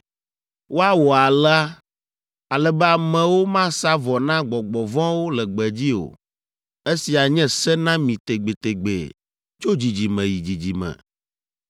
Woawɔ alea, ale be amewo masa vɔ na gbɔgbɔ vɔ̃wo le gbedzi o. Esia anye se na mi tegbetegbe tso dzidzime yi dzidzime.’